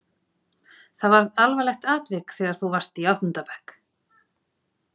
Það varð alvarlegt atvik þegar þú varst í áttunda bekk.